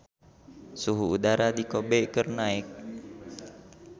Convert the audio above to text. Suhu udara di Kobe keur naek